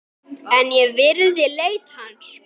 En ég virði leit hans.